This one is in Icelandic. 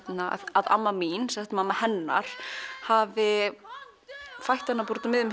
að amma mín mamma hennar hefði fætt hana úti á miðjum